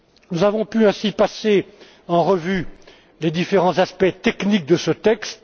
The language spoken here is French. Nous avons pu ainsi passer en revue les différents aspects techniques de ce texte.